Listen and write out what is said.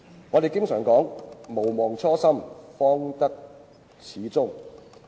我們經常說："毋忘初心，方得始終"。